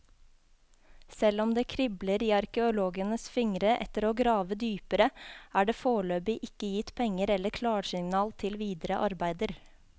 Selv om det kribler i arkeologenes fingre etter å grave dypere, er det foreløpig ikke gitt penger eller klarsignal til videre arbeider.